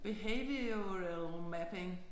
Behavioral mapping